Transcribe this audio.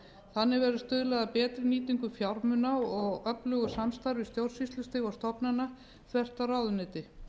þannig verði stuðlað að betri nýtingu fjármuna og öflugu samstarfi stjórnsýslustiga og stofnana þvert á ráðuneyti